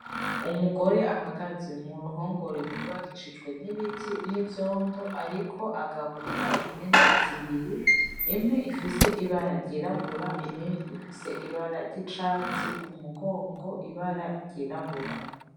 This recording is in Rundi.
Umugore ahagaze mu ruhongore rwubakishijwe n’ibiti n’ivyondo ariko agaburira impene zibiri imwe ifise ibara ryirabura irindi rifise ibara ry’icatsi ku mugongo ibara ryirabura.